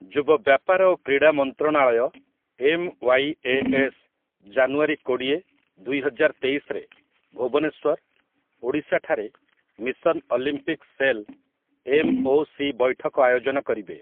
ଯୁବ ବ୍ୟାପାର ଓ କ୍ରୀଡ଼ା ମନ୍ତ୍ରଣାଳୟ ଏମ୍‌.ୱାଇ.ଏ.ଏସ୍‌. ଜାନୁଆରୀ କୋଡ଼ିଏ, ଦୁଇହଜାର ତେଇଶରେ ଭୁବନେଶ୍ୱର, ଓଡ଼ିଶା ଠାରେ ମିଶନ ଅଲିମ୍ପିକ୍‌ ସେଲ ଏମ୍‌.ଓ.ସି ବୈଠକ ଆୟୋଜନ କରିବେ ।